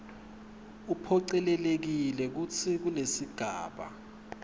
uphocelelekile kutsi kulesigaba